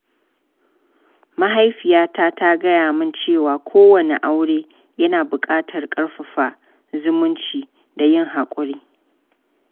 Mahaifiyata ta gaya min cewa kowane aure yana buƙatar ƙarfafa zumunci da yin hakuri.